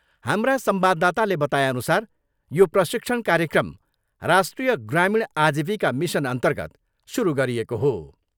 हाम्रा संवाददाताले बताएअनुसार यो प्रशिक्षण कार्यक्रम राष्ट्रिय ग्रामीण आजीविका मिसनअर्न्तगत सुरु गरिएको हो।